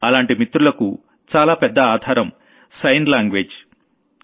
అలాంటి మిత్రలకు చాలా పెద్ద ఆధారం సైన్ లాంగ్వేజ్